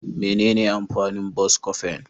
Menene amfanin " Buscofen "?